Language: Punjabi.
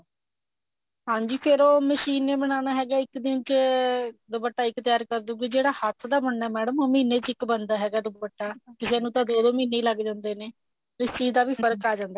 ਹਾਂਜੀ ਫੇਰ ਉਹ ਮਸ਼ੀਨ ਨੇ ਬਨਾਣਾ ਹੈਗਾ ਇੱਕ ਦਿਨ ਚ ਦੁਪੱਟਾ ਇੱਕ ਤਿਆਰ ਕਰਦੁਗੀ ਜਿਹੜਾ ਹੱਥ ਦਾ ਬੁੰਨਨਾ madam ਉਹ ਮਹੀਨੇ ਚ ਇੱਕ ਬਣਦਾ ਹੈਗਾ ਦੁਪੱਟਾ ਕਿਸੇ ਨੂੰ ਤਾਂ ਦੋ ਦੋ ਮਹੀਨੇ ਲੱਗ ਜਾਂਦੇ ਨੇ ਇਸ ਚੀਜ਼ ਦਾ ਵੀ ਫਰਕ਼ ਆ ਜਾਂਦਾ